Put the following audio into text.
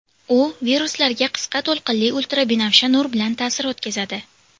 U viruslarga qisqa to‘lqinli ultrabinafsha nur bilan ta’sir o‘tkazadi.